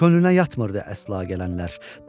Könlünə yatmırdı əsla gələnlər.